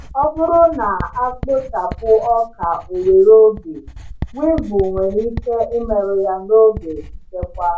Ọ bụrụ na a kpochapụ ọka owere oge, weevil nwere ike imerụ ya n’oge nchekwa.